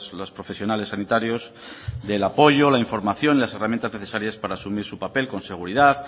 los profesionales sanitarios del apoyo la información y de las herramientas necesarias para asumir su papel con seguridad